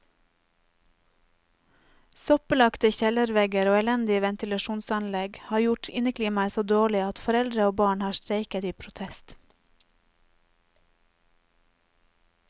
Soppbelagte kjellervegger og elendig ventilasjonsanlegg har gjort inneklimaet så dårlig at foreldre og barn har streiket i protest.